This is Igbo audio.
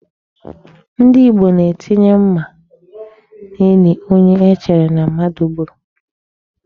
Ndị Igbo na-etinye mma n'ili onye e chere na mmadụ gburu.